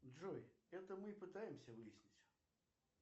джой это мы и пытаемся выяснить